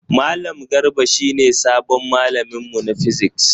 Malam Garba shi ne sabon malamin mu na physics.